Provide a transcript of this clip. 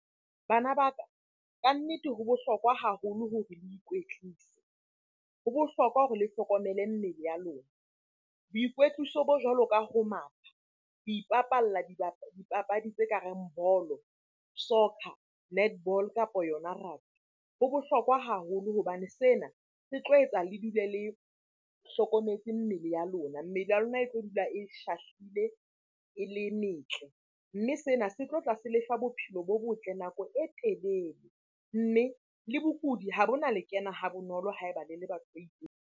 Bana ba ka kannete ho bohlokwa haholo hore le ikwetlise. Ho bohlokwa hore le hlokomele mmele ya lona. Boikwetliso bo jwalo ka ho matha, ho ipapalla dipapadi tse ka reng ball-o, soccer, netball, kapa yona rugby ho bohlokwa haholo hobane sena se tlo etsa le dule le hlokometse mmele ya lona. Mmele ya lona e tlo dula e shahlile, e le metle. Mme sena se tlotla se lefa bophelo bo botle nako e telele, mme le bokudi ha bo na le kena ha bonolo ha eba le le batho ba .